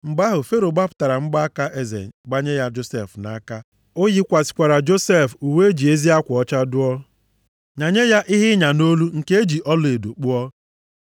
Mgbe ahụ, Fero gbapụtara mgbaaka + 41:42 Mgbaaka a na-agbanye na mkpịsịaka bụ ihe e ji emesi okwu ike. \+xt Est 3:10\+xt* eze ya gbanye ya Josef nʼaka. O yikwasịkwara Josef uwe e ji ezi akwa ọcha duo, nyanye ya ihe ịnya nʼolu nke e ji ọlaedo kpụọ.